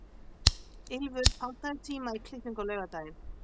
Ylfur, pantaðu tíma í klippingu á laugardaginn.